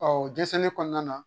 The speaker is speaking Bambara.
o dɛsɛli kɔnɔna na